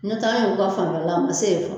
N'o tɛ an yɛru ka fanfɛla a ma se yen fɔlɔ